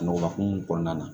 Nɔgɔ hokumu kɔnɔna na